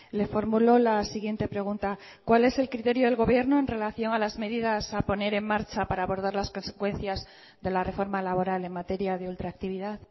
le formulo la siguiente pregunta cuál es el criterio del gobierno en relación a las medidas a poner en marcha para abordar las consecuencias de la reforma laboral en materia de ultraactividad